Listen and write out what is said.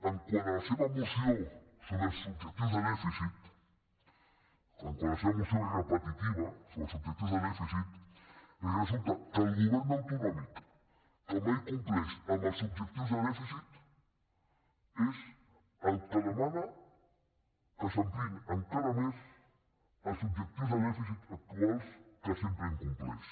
quant a la seva moció sobre els objectius de dèfi cit quant a la seva moció repetitiva sobre els objec tius de dèficit resulta que el govern autonòmic que mai compleix amb els objectius de dèficit és el que demana que s’ampliïn encara més els objectius de dèficit actuals que sempre incompleix